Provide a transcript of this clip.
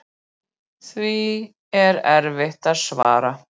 Því er erfitt að svara.